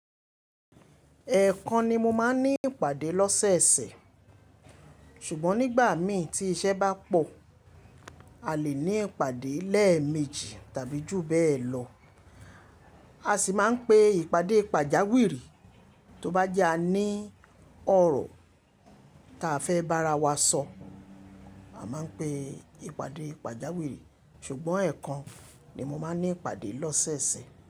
Ẹ̀ẹ̀kan ni mo máa ń ní ìpàdé lọ́sẹ̀ẹ̀sẹ̀, ṣùgbọ́n nígbà mí tí iṣẹ́ bá pọ̀, a lè ní ìpàdé lẹ́ẹ̀ẹ̀mejì tàbí jù bẹ́ẹ̀ lọ. A sì máa ń pe ìpàdé pàjáwìrì. Tó bá jẹ́ a ní ọ̀rọ̀ ta fẹ́ bá ara wa sọ, a máa ń pe ìpàdé pàjáwìrì. Ṣùgbọ́n ẹ̀ẹ̀kan ni mo máa ń ní ìpàdé lọ́sẹ̀ẹ̀sẹ̀